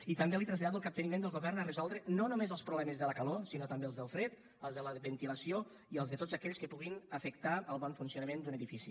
i també li trasllado el capteniment del govern a resoldre no només els problemes de la calor sinó també els del fred els de la ventilació i els de tots aquells que puguin afectar el bon funcionament d’un edifici